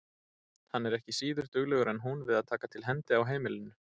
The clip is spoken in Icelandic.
Hann er ekki síður duglegur en hún við að taka til hendi á heimilinu.